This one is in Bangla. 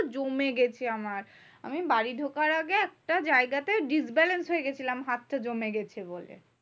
জমে গেছে আমার। আমি বাড়ি ঢোকার আগে একটা জায়গাতে disbalance হয়ে গেছিলাম হাতটা জমে গেছে বলে?